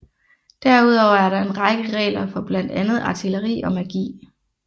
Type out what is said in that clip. Derudover er der en række regler for blandt andet artilleri og magi